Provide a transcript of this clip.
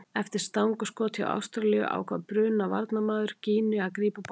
Eftir stangarskot hjá Ástralíu ákvað Bruna varnarmaður Gíneu að grípa boltann.